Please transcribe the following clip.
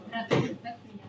Təşəkkür.